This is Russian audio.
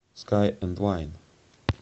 скай энд вайн